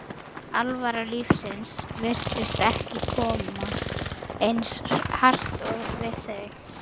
alvara lífsins virtist ekki koma eins hart við þau.